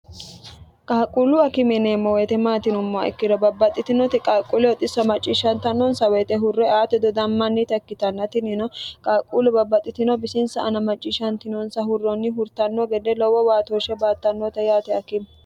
qaaqquullu akime yineemmo woyite maati yinummoha ikkiro babbaxxitinoti qaaqquuleho xissa macciishshantannonsa woyite hurre aate dodammannita ikkitanna tinino qaaqquullu babbaxxitino bisinsa ana macciishshantinonsa hurrenni hurtanno gede lowo baatooshshe baattannote yaate akime.